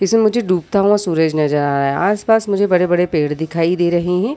इसे मुझे डूबता हुआ सूरज नजर आ रहा है। आसपास मुझे बड़े-बड़े पेड़ दिखाई दे रहे हैं।